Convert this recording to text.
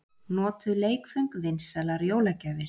Notuð leikföng vinsælar jólagjafir